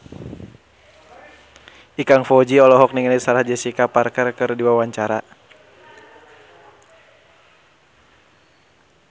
Ikang Fawzi olohok ningali Sarah Jessica Parker keur diwawancara